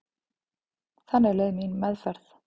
Þannig leið mín meðferð.